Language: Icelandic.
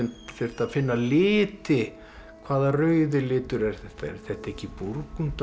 þurfti að finna liti hvaða rauði litur er þetta er þetta ekki